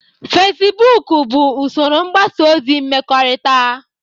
Feciboku $bụ usoro mgbasa ozi mmekọrịta